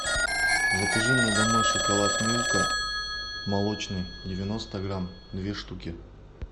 закажи мне домой шоколад милка молочный девяносто грамм две штуки